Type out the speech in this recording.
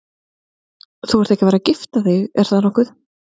Þú ert ekki að fara að gifta þig, er það nokkuð?